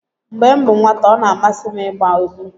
mgbe m bụ nwata ọ na-amasị m ịgba egwu